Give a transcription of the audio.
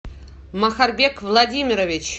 махарбек владимирович